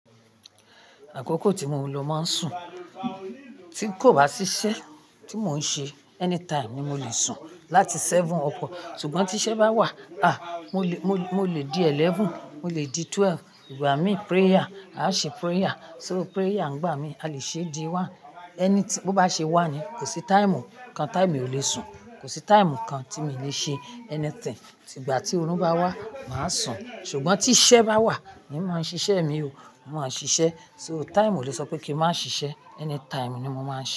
Àkókò tí mo ń lọ máa ń sùn, tí kò bá sí iṣẹ́ tí mò ń ṣe, anytime ni mo lè sùn láti méje up, ṣùgbọ́n tí iṣẹ́ bá wà, a! Mo lè, mo lè di mọ́kànlá, mo lè di méjìlá igbà mí prayer, a ṣe prayer, so prayer ń gbà mí, a lè ṣe di ọ̀kan, anything, bó bá ṣe wà ni, kò sí táìmù kan táìmì ò lè sùn, kò sí táìmù kan tí mi lè ṣe anything, tigba tí orun bá wà, màá sùn, ṣùgbọ́n tí iṣẹ́ bá wà, èmi máa ń ṣiṣẹ́ mi o, màá ń ṣiṣẹ́, so táìmù ò lè sọ pé kí n má ṣiṣẹ́, anytime ni mo máa ń ṣe.